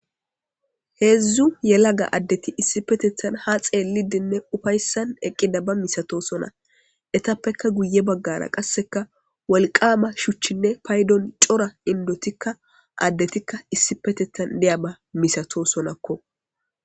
Heedzdzu yelaga addeti issi petethan ha xeellidinne ufayssan eqqida ba misato sona etappeka guye baggara qasseka wolqama shuchchinne paydon cora indotikka addetikka issi petethan deya ba misato sonakko.